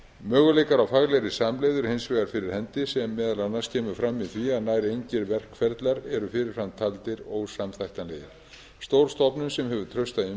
möguleikar á faglegri samlegð eru hins vegar fyrir hendi sem meðal annars kemur fram í því að nær engir verkferlar eru fyrir fram taldir ósamþættanlegir stór stofnun sem hefur trausta